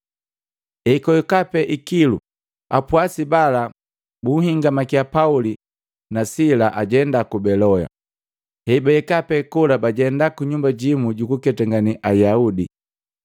Ekwahika pee ikilu, apwasi bala bunhingamakiya Pauli na sila ajenda ku Beloya. Hebahika pee kola bajenda ku nyumba jimu juku ketangene Ayaudi.